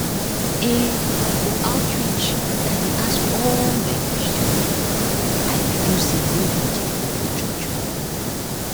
ehn for outreach i dey ask all my questions o i dey feel say nobody go judge me.